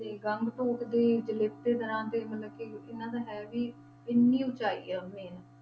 ਤੇ ਗੰਗਟੋਕ ਦੀ ਜਲੇਪੇ ਦਰਾਂ ਤੇ ਮਤਲਬ ਕਿ ਇਹਨਾਂ ਦਾ ਹੈ ਵੀ ਇੰਨੀ ਉਚਾਈ ਹੈ ਉੱਥੇ ,